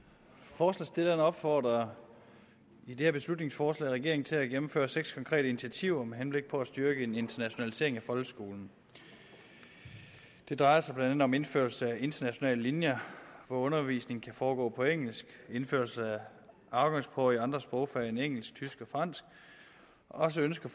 forslagsstillerne opfordrer i det her beslutningsforslag regeringen til at gennemføre seks konkrete initiativer med henblik på at styrke en internationalisering af folkeskolen det drejer sig blandt andet om indførelse af internationale linjer hvor undervisningen kan foregå på engelsk indførelse af afgangsprøver i andre sprogfag end engelsk tysk og fransk og så ønsker